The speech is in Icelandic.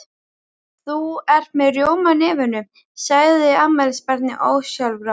Þú ert með rjóma á nefinu, sagði afmælisbarnið ósjálfrátt.